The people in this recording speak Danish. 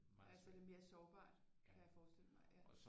Ja så er det mere sårbart kan jeg forestille mig ja